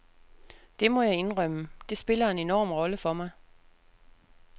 Det må jeg indrømme, det spiller en enorm rolle for mig.